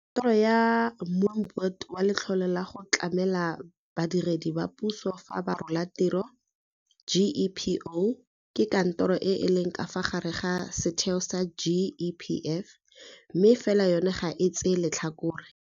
Kantoro ya Moombate wa Letlole la go Tlamela Badiredi ba Puso fa ba Rola Tiro, GEPO, ke kantoro e e leng ka fa gare ga setheo sa GEPF mme fela yona ga e tsee letlhakore.